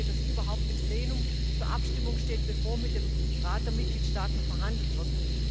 das überhaupt im Plenum zur Abstimmung steht, bevor mit dem Rat der Mitgliedstaaten verhandelt wird.